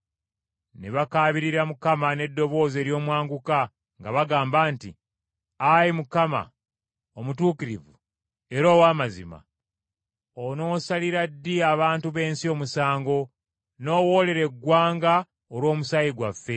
Ne bakaabirira Mukama n’eddoboozi ery’omwanguka nga bagamba nti, “Ayi Mukama, Omutukuvu era ow’amazima, onoosalira ddi abantu b’ensi omusango, n’owoolera eggwanga olw’omusaayi gwaffe?”